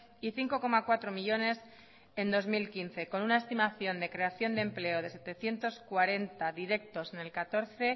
y cinco coma cuatro millónes en dos mil quince con una estimación de creación de empleo de setecientos cuarenta directos en el catorce